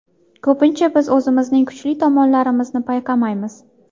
Ko‘pincha biz o‘zimizning kuchli tomonlarimizni payqamaymiz.